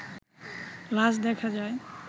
লাশ দেখা যায়